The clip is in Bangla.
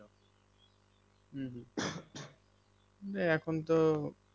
হম এখন তো